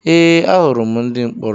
Ee ahụrụ m ndị mkpọrọ